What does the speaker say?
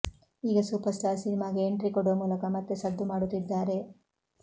ಈಗ superstar ಸಿನಿಮಾಗೆ entry ಕೊಡುವ ಮೂಲಕ ಮತ್ತೆ ಸದ್ದು ಮಾಡುತ್ತಿದ್ದಾರೆ